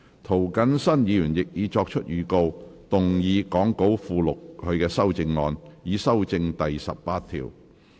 涂謹申議員亦已作出預告，動議講稿附錄他的修正案，以修正第18條。